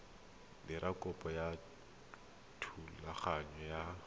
dira kopo ya thulaganyo ya